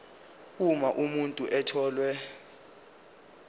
uma umuntu etholwe